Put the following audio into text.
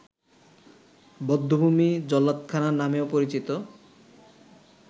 বধ্যভূমি ‘জল্লাদখানা’ নামেও পরিচিত